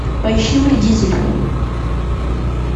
поищи вредитель